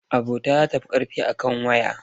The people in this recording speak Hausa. Abota za ta fi a kan waya.